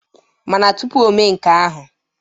Mana tụpụ ome nke ahụ,